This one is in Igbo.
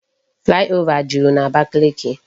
Flyover jụrụ n'Abakiliki